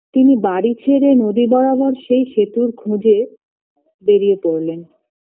তিনি বাড়ি ছেড়ে নদী বরাবর সেই সেতুর খোঁজে বেড়িয়ে পরলেন